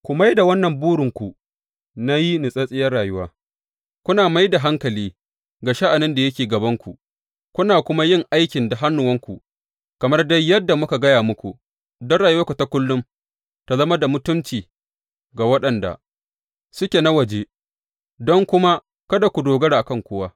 Ku mai da wannan burinku na yi natsattsiyar rayuwa, kuna mai da hankali ga sha’anin da yake gabanku, kuna kuma yin aiki da hannuwanku, kamar dai yadda muka gaya muku, don rayuwanku ta kullum ta zama da mutunci ga waɗanda suke na waje don kuma kada ku dogara a kan kowa.